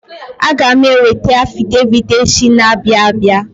Aga m eweta afidevit echi na-abịa abia.